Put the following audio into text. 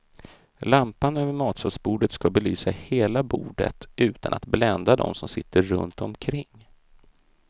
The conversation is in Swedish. Lampan över matsalsbordet ska belysa hela bordet utan att blända de som sitter runtomkring.